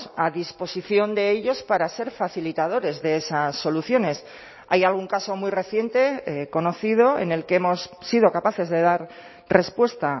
a disposición de ellos para ser facilitadores de esas soluciones hay algún caso muy reciente conocido en el que hemos sido capaces de dar respuesta